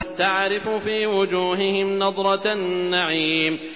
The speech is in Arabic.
تَعْرِفُ فِي وُجُوهِهِمْ نَضْرَةَ النَّعِيمِ